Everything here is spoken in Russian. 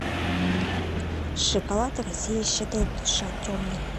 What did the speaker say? шоколад россия щедрая душа темный